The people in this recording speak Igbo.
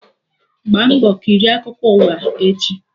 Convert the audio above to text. Gbaa mbọ kirie akụkọ ụwa echi!